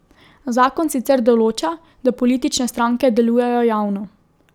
Zakon sicer določa, da politične stranke delujejo javno.